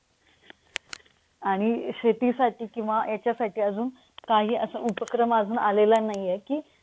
आणि शेतीसाठी किंवा याच्यासाठी अजून काही असा उपक्रम अजून आलेला नाहीये कि,